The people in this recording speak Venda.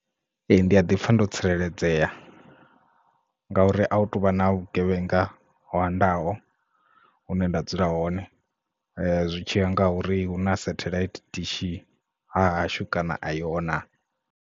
Ee ndi a ḓi pfha ndo tsireledzea nga uri a hu tuvha na vhugevhenga hoandaho hune nda dzula hone zwitshiya nga ha uri hu na satellite dishi hahashu kana a iho na.